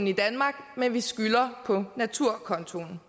i danmark men vi skylder på naturkontoen